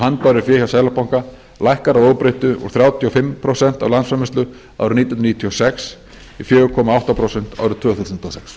handbæru fé hjá seðlabanka lækkar að óbreyttu úr þrjátíu og fimm prósent af landsframleiðslu árið nítján hundruð níutíu og sex í fjóra komma átta prósent árið tvö þúsund og sex